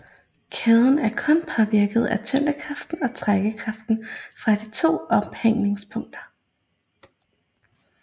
Kæden er kun påvirket af tyngdekraften og trækkraften fra de to ophængningspunkter